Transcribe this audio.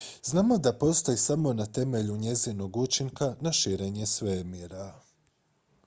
znamo da postoji samo na temelju njezinog učinka na širenje svemira